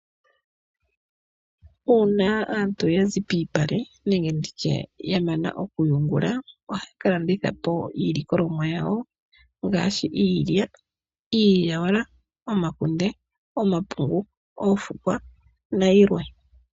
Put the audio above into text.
Uuna aantu yazi piipale nenge nditye ya mana okuyungula ohaya ka landithapo iilikolomwa yawo ngaashi iilya , iilyawala , omakunde , omapungu , oofukwa nayilwe .